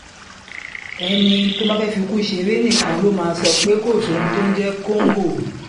ẹni tó bá fẹ́ẹ́ fikú ṣeré nìkan ló máa sọ pé kò sóhun tó ń jẹ́ kóńgò